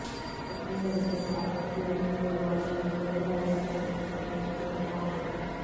एकंदरीतच आर्थिक नियोजन कोलमडल्याने बळीराजा कर्जाच्या खाईत लोटला आहे